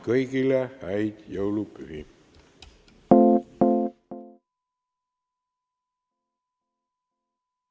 Kõigile häid jõulupühi!